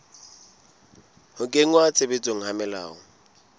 ho kenngwa tshebetsong ha melao